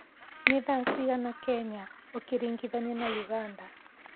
ni thaa cĩĩgana Kenya ukiringithania na uganda